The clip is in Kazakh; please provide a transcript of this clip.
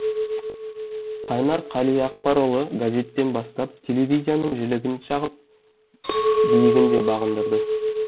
қайнар қалиақпарұлы газеттен бастап телевизияның жілігін шағып биігін де бағындырды